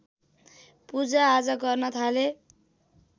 पूजाआजा गर्न थाले